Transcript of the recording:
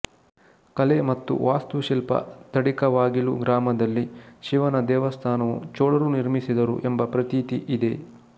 ಕಲೆ ಮತ್ತು ವಾಸ್ತು ಶಿಲ್ಪ ತಡಿಕವಾಗಿಲು ಗ್ರಾಮದಲ್ಲಿ ಶಿವನ ದೇವಸ್ಥಾನವು ಚೋಳರು ನಿರ್ಮಿಸಿದರು ಎಂಬ ಪ್ರತೀತಿ ಇದೆ